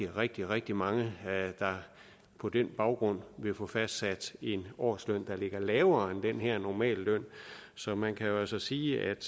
rigtig rigtig mange der på den baggrund vil få fastsat en årsløn der ligger lavere end den her normalløn så man kan altså sige at